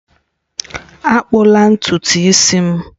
Akpụla ntutu isi m!